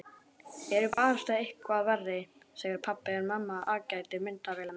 Ertu barasta eitthvað verri, segir pabbi en mamma aðgætir myndavélina.